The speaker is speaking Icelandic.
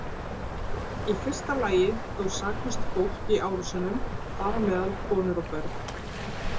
Í fyrsta lagi dó saklaust fólk í árásunum, þar á meðal konur og börn.